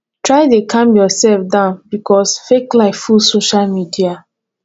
try de calm yourself down because fake life full social media